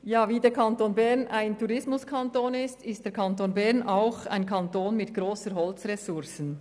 Wie der Kanton Bern ein Tourismuskanton ist, ist er auch ein Kanton mit grossen Holzressourcen.